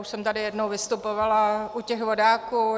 Už jsem tady jednou vystupovala u těch vodáků.